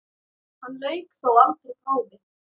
Hann lauk þó aldrei prófi.